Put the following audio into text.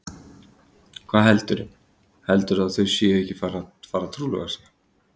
Hvað heldurðu. heldurðu að þau séu ekki að fara að trúlofa sig!